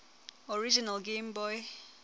original game boy